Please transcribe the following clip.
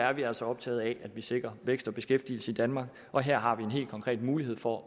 er altså optaget af at vi sikrer vækst og beskæftigelse i danmark og her har vi en helt konkret mulighed for